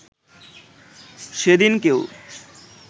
সেদিন কেউ